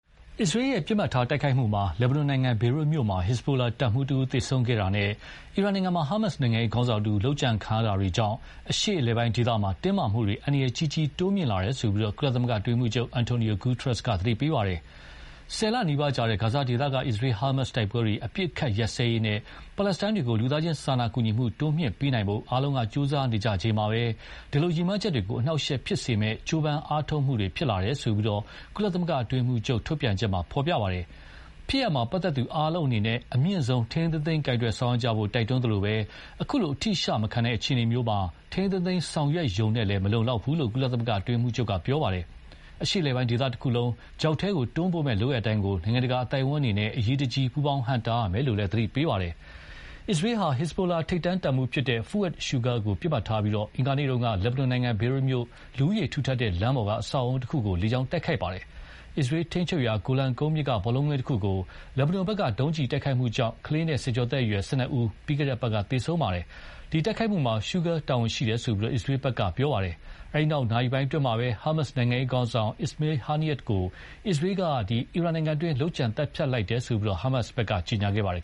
အစ္စရေးရဲ့ပစ်မှတ်ထားတိုက်ခိုက်မှုအတွင်း လက်ဘနွန်နိုင်ငံ ဘေရွက်မြို့မှာ ဟက်ဇ်ဘိုတပ်မှူးတဦးသေဆုံးခဲ့တာနဲ့ အီရန်မှာ ဟာမတ်စ်နိုင်ငံရေးခေါင်းဆောင်တဦး လုပ်ကြံခံရတာတွေကြောင့် အရှေ့အလယ်ပိုင်းဒေသမှာ တင်းမာမှုတွေ အန္တရာယ်ကြီးကြီး တိုးမြင့်လာတယ်လို့ ကုလသမဂ္ဂအတွင်းရေးမှူးချုပ် Antonio Guterres က သတိပေးလိုက်ပါတယ်။ ၁၀ လနီးပါးကြာ ဂါဇာဒေသက အစ္စရေး-ဟာမတ်စ်တိုက်ပွဲတွေ အပစ်အခတ်ရပ်စဲရေးနဲ့ ပါလက်စတိုင်းတွေကို လူသားချင်းစာနာကူညီမှု တိုးမြှင့်ပေးနိုင်ဖို့ အားလုံးက ကြိုးစားနေကြချိန်မှာပဲ ဒီ ရည်မှန်းချက်တွေကို အနှောင့်အယှက်ဖြစ်စေမယ့် ကြိုးပမ်းအားထုတ်မှုတွေ ဖြစ်လာရတယ်လို့ ကုလသမဂ္ဂအတွင်းရေးမှူးချုပ်ရဲ့ ထုတ်ပြန်ချက်မှာ ဖော်ပြပါတယ်။ ဖြစ်ရပ်မှာ ပတ်သက်သူအားလုံးအနေနဲ့ အမြင့်ဆုံး ထိန်းထိန်းသိမ်းသိမ်းဆောင်ရွက်ကြဖို့ တိုက်တွန်းသလိုပဲ အခုလို အထိအရှမခံတဲ့အခြေအနေမှာ ထိန်းထိန်းသိမ်းသိမ်းဆောင်ရွက်ရုံနဲ့လည်း မလုံလောက်ဘူးလို့ ကုလ အတွင်းရေးမှူးချုပ်က ပြောပါတယ်။ အရှေ့အလယ်ပိုင်းဒေသတခုလုံး ချောက်ထဲတွန်းပို့မယ့်လုပ်ရပ်တိုင်းကို နိုင်ငံတကာအသိုက်အဝန်းအနေနဲ့ အရေးတကြီး ပူးပေါင်းဟန့်တားရမယ်လို့လည်း သတိပေးပါတယ်။ အစ္စရေးဟာ ဟက်ဇ်ဘိုလာ ထိပ်တန်းတပ်မှူး Fouad Shukur ကိုပစ်မှတ်ထားပြီး အင်္ဂါနေ့က လက်ဘနွန်နိုင်ငံ ဘေရွတ်မြို့ လူဦးရေထူထပ်တဲ့လမ်းပေါက် အဆောက်အဦးတခုကို လေကြောင်းတိုက်ခိုက်ခဲ့ပါတယ်။ အစ္စရေးထိန်းချုပ်ရာ ဂိုလန်ကုန်းမြင့်က ဘောလုံးကွင်းတခုကို လက်ဘနွန်ဘက်က ဒုံးကျည်နဲ့တိုက်ခိုက်ခဲ့တာကြောင့် ကလေးနဲ့ ဆယ်ကျော်သက်အရွယ် ၁၂ ဦး ပြီးခဲ့တဲ့အပတ်က သေဆုံးခဲ့ပါတယ်။ ဒီတိုက်ခိုက်မှုမှာ Shukur တာဝန်ရှိတယ်လို့ အစ္စရေးဘက်က ပြောပါတယ်။ အဲဒီနောက် နာရီပိုင်းအတွင်းမှာပဲ ဟာမတ်စ် နိုင်ငံရေးခေါင်းဆောင် Ismail Haniyeh ကို အစ္စရေးက အီရန်နိုင်ငံအတွင်းမှာ လုပ်ကြံသတ်ဖြတ်လိုက်တယ်လို့ ဟာမတ်စ်ကကြေညာပါတယ်